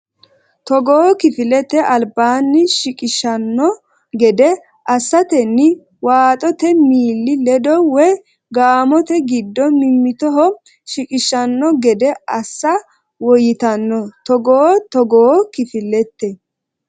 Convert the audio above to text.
Togoo kifilete albaanni shiqishshanno gede assantenni waaxote miili ledo woy gaamote giddo mimmitoho shiqishshanno gede assa woyyitanno Togoo Togoo kifilete.